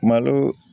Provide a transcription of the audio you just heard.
Malo